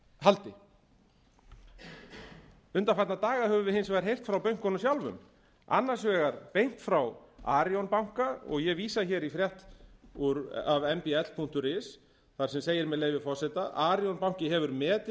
haldi undanfarna daga höfum við hins vegar heyrt frá bönkunum sjálfum annars vegar beint frá arionbanka og ég vísa hér í frétt af m b l punktur is þar sem segir með leyfi forseta arionbanki hefur metið